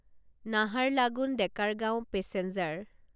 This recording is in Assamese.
নাহাৰলাগুন ডেকাৰগাঁও পেছেঞ্জাৰ